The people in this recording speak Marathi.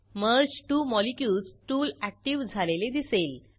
merge two molecules tool active झालेले दिसेल